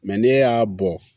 ne y'a bɔ